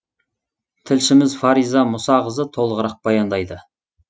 тілшіміз фариза мұсақызы толығырақ баяндайды